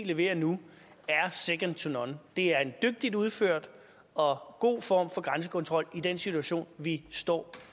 leverer nu er second to none det er en dygtigt udført og god form for grænsekontrol i den situation vi står